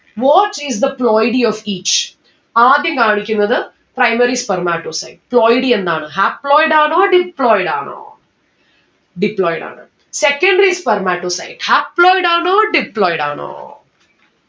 what is the ploidy of each ആദ്യം കാണിക്കുന്നത് primary spermatocyte ploidy എന്നാണ് haploid ആണോ deployed ആണോ? Deployed ആണ്. secondary spermatocyte haploid ആണോ Deployed ആണോ